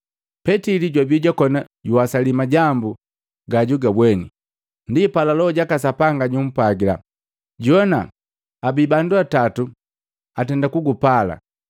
Petili jwabi jwakona juwasali majambu gajugabweni, ndi pala Loho jaka Sapanga jumpwagila, “Jowana! Abi bandu atatu, atenda kukupala.